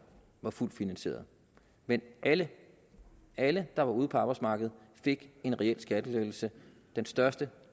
var fuldt finansieret men alle alle der var ude på arbejdsmarkedet fik en reel skattelettelse den største